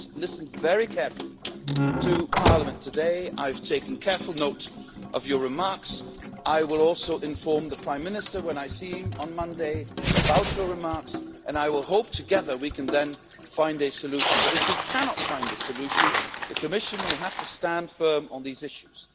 I've listened very carefully to Parliament today, I've taken careful note of your remarks, I will also inform the Prime Minister when I seen him on Monday of your remarks, and I hope we can then find a solution together, but if we cannot find a solution, the Commission will have to stand firm on these issues.